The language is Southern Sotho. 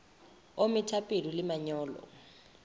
o metha peo le manyolo